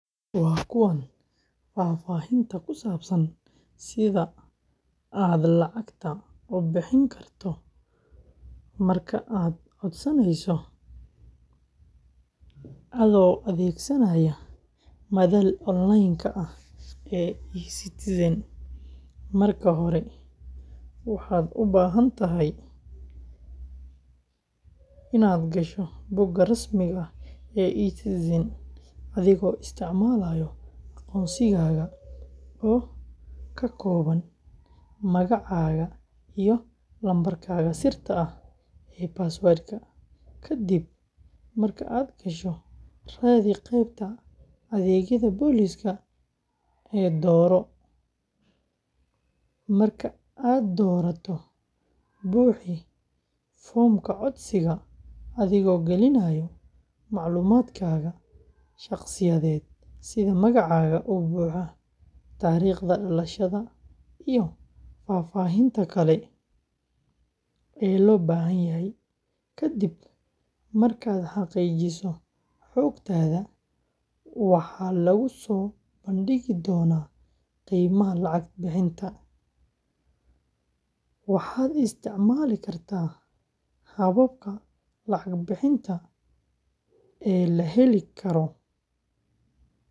waa kuwaan fafahinta kusabsan sidha ad lacagta u bixin karto marka codsaneyso adho adeegsanaya madhal onlinka ah ee e-citizen marka hora waxad ubahantahay inad gasho buuka rasmiga ah ee e-citizen adhigo isticmalaya aqoonsigaga oo kakooban magacaga iyo lambarkaga sirta ah ee passwadka. kadib marka ad gasho raadhi qeybta adeegyadha boliska ee dora, marka ad dorato buxi fomka codsiga adhigo galinaya maclumadkadha shaqsiyadhed sidha magacaga u buxa tariqda dalashadha iyo fafahinta kale ee lobahanyahay kadib markad haqijiso xogtadha waxa laguso bandigi dona qeymaha lacag bixinta. Waxad isticmali karta hababka lacag bixinta ee laheli Karo.